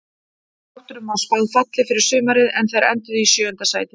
Þrótturum var spáð falli fyrir sumarið en þeir enduðu í sjöunda sæti.